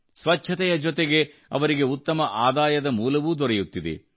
ಸ್ವಚ್ಛತೆಯ ಜತೆಗೆ ಅವರಿಗೆ ಉತ್ತಮ ಆದಾಯದ ಮೂಲವೂ ದೊರೆಯುತ್ತಿದೆ